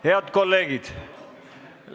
Head kolleegid!